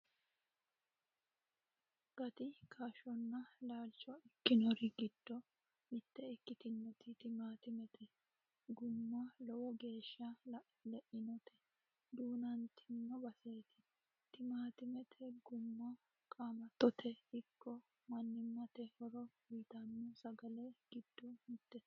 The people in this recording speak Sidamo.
Gati kaashshonna laalcho ikkinori giddo mitte ikkitinoti timaantimete gumma lowo geeshsha le'inoti duunantino baseeti. Timaantimete gumma qaamattote ikko mannimate horo uytanno sagalla giddo mittete.